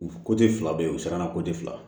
U fila be yen u sɛgɛnna